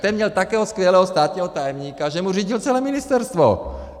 Ten měl takového skvělého státního tajemníka, že mu řídil celé ministerstvo!